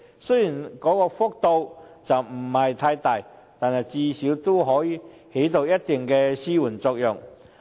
雖然調整幅度不算太大，但至少可以起到一定的紓緩作用。